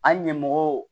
An ɲɛmɔgɔw